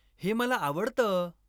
हे मला आवडतं